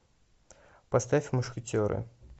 поставь мушкетеры